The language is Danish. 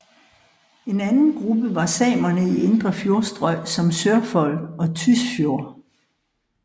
En anden gruppe var samerne i indre fjordstrøg som Sørfold og Tysfjord